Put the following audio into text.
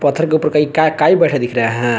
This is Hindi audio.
पत्थर के ऊपर कई काई बैठा दिख रहा है।